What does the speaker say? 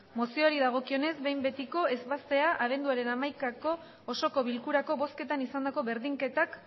mozioari dagokionez behin betiko ebaztea abenduaren hamaikako osoko bilkurako bozketan izandako berdinketak